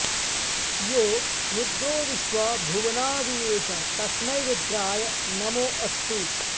यो रुद्रो विश्वा भुवनाऽऽविवेश तस्मै रुद्राय नमो अस्तु